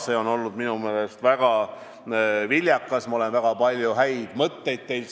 See on olnud minu meelest väga viljakas, ma olen saanud teilt väga palju häid mõtteid.